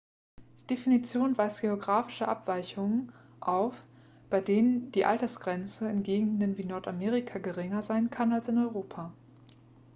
die definition weist geografische abweichungen auf bei denen die altersgrenze in gegenden wie nordamerika geringer sein kann als in europa